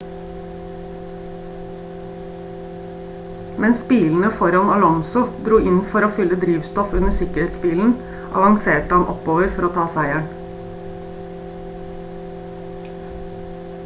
mens bilene foran alonso dro inn for fylle drivstoff under sikkerhetsbilen avanserte han oppover for å ta seieren